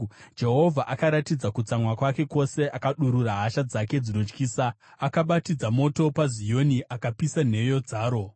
Jehovha akaratidza kutsamwa kwake kwose; akadurura hasha dzake dzinotyisa. Akabatidza moto paZioni akapisa nheyo dzaro.